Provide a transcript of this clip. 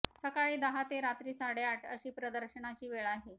सकाळी दहा ते रात्री साडेआठ अशी प्रदर्शनाची वेळ आहे